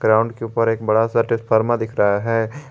Tower के ऊपर एक बड़ा सा ट्रांसफार्मर दिख रहा है।